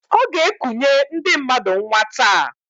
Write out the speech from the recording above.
Ọ g'ekunye ndị mmadụ nnwa taa.